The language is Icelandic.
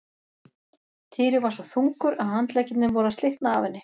Týri var svo þungur að handleggirnir voru að slitna af henni.